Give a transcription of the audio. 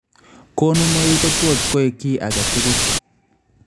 Konunoik kotot koek ki aketkul